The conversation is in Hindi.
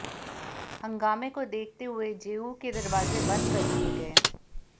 हंगामे को देखते हुए जेयू के दरवाजे बंद कर दिए गए